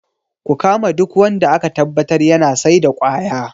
Ku kama duk wanda aka tabbatar yana saida kwaya